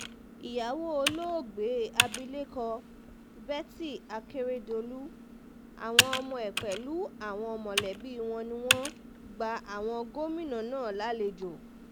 ìyàwó olóògbé abilékọ betty akeredolu àwọn ọmọ ẹ̀ pẹ̀lú àwọn mọ̀lẹ́bí wọn ni wọ́n gba àwọn gómìnà náà lálejò